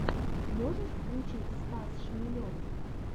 можешь включить стас шмелев